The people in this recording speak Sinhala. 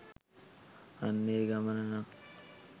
අන්න ඒ ගමන නං